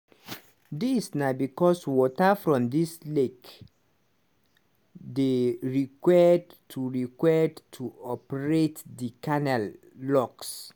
dis na becos water from di lake dey required to required to operate di canal locks.